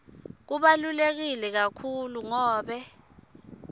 kubaluleke kakhulu ngobe